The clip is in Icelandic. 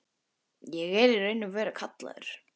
Ég er í raun og veru kallaður.